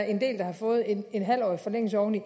en del der har fået en halvårig forlængelse oveni